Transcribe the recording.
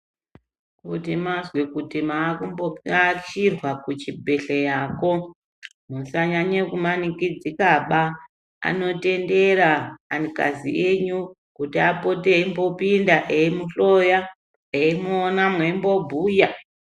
Kuti mazwe kuti mwakumbo ashirwa kuchibhehleyako musanyanya kumanikidzikaba anotendera anikazi enyu kuti apote eimbopinda emimuhloya eimuona mweimbobhuya.